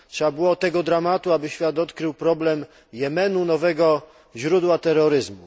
Trzeba było tego dramatu, aby świat odkrył problem Jemenu nowego źródła terroryzmu.